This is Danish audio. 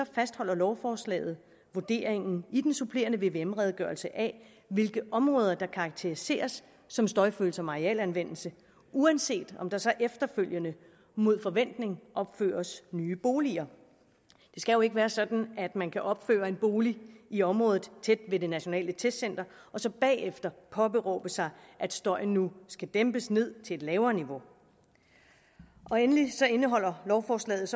fastholder lovforslaget vurderingen i den supplerende vvm redegørelse af hvilke områder der karakteriseres som støjfølsom arealanvendelse uanset om der så efterfølgende mod forventning opføres nye boliger det skal jo ikke være sådan at man kan opføre en bolig i området tæt ved det nationale testcenter og så bagefter påberåbe sig at støjen nu skal dæmpes til et lavere niveau endelig indeholder lovforslaget